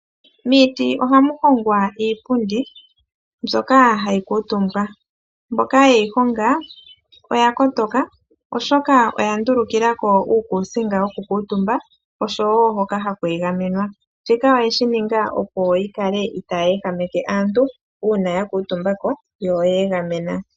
Miiti ohamu hongwa iipundi, mbyoka hayi kuutumbwa, mboka yeyi honga oya kotoka, oshoka oya ndulukilako uukuusinga wo kukuutumba oshowo hoka haku egamenwa, shika oyeshi ninga opo yi kale itaayi ehameke aantu uuna ya kuutumba ko yo oya egamena.